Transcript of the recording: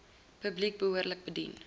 publiek behoorlik bedien